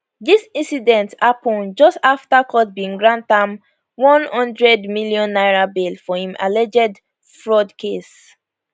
dis incident happun just afta court bin grant am n100 million naira bail for im alleged fraud case